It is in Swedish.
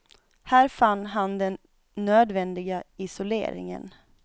Här fann han den nödvändiga isoleringen.